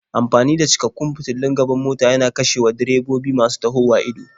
Amfani da cikakkun fitulun gaban mota yana kashewa direbobi masu tahowa ido.